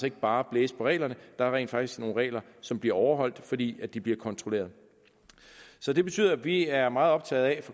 ikke bare blæse på reglerne der er rent faktisk nogle regler som bliver overholdt fordi de bliver kontrolleret så det betyder at vi er meget optaget